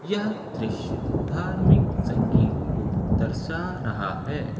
यह दृश्य धार्मिक संगीत को दर्शा रहा है।